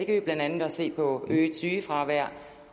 vi blandt andet også se på øget sygefravær